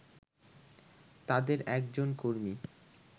তাদের একজন কর্মী